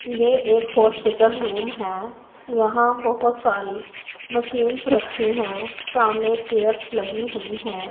ये एक hospital room है यहां बहोत सारी मशीन्स रखी हैं सामने चेयर्स लगी हुई है।